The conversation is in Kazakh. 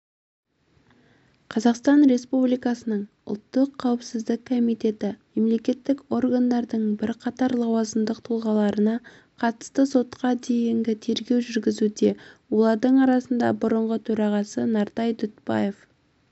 қазақстан республикасының ұлттық қауіпсіздік комитеті мемлекеттік органдардың бірқатар лауазымдық тұлғаларына қатысты сотқа дейінгі тергеу жүргізуде олардың арасында бұрынғы төрағасы нартай дүтбаев